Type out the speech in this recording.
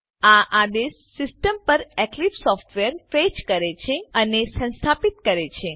આ આદેશ સીસ્ટમ પર એક્લીપ્સ સોફ્ટવેર ફેચ કરે છે અને સંસ્થાપીત કરે છે